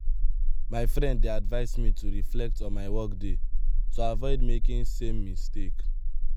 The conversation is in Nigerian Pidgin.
my friend dey advise me to reflect on my workday to avoid making same mistake.